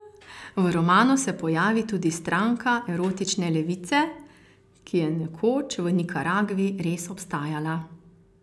V romanu se pojavi tudi Stranka erotične levice, ki je nekoč v Nikaragvi res obstajala.